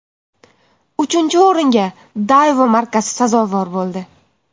Uchinchi o‘ringa Daewoo markasi sazovor bo‘ldi.